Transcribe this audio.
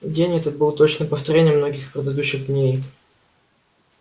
день этот был точным повторением многих предыдущих дней